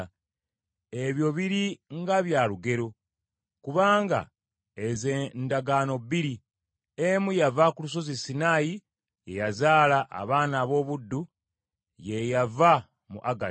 Ebyo biri nga bya lugero; kubanga ezo ndagaano bbiri. Emu yava ku Lusozi Sinaayi, ye yazaala abaana ab’obuddu, ye yava mu Agali.